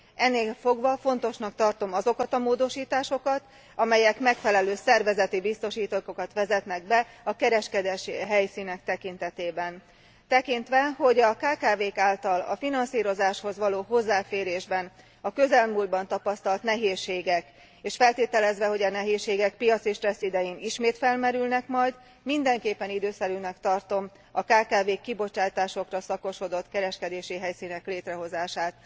Ennélfogva fontosnak tartom azokat a módosításokat, amelyek megfelelő szervezeti biztosítékokat vezetnek be a kereskedési helyszínek tekintetében. Tekintve a kkv k által a finanszírozáshoz való hozzáférésben a közelmúltban tapasztalt nehézségeket és feltételezve, hogy a nehézségek piaci stressz idején ismét felmerülnek majd mindenképpen időszerűnek tartom a kkv k kibocsátásokra szakosodott kereskedési helyszínek létrehozását.